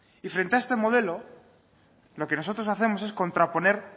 y frente a este modelo lo que nosotros hacemos es contraponer